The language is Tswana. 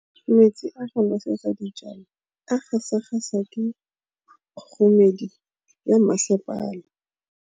Metsi a go nosetsa dijalo a gasa gasa ke kgogomedi ya masepala.